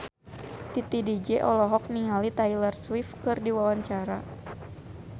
Titi DJ olohok ningali Taylor Swift keur diwawancara